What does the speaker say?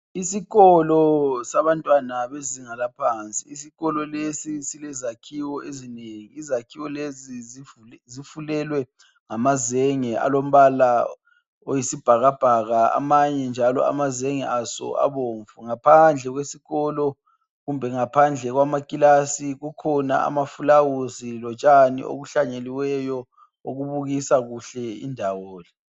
Isikolo sabantwana bezinga laphansi Isikolo lesi silezakhiwo izakhiwo lezi zifulelwe ngamazenge alombala oyisibhakabhaka amanye njalo amazenge aso abomvu ngaphandle kwesikolo kumbe ngaphandle kwamakilasi kukhona amafulawuzi lotshani obuhlanyelweyo obubukisa kuhle indawo.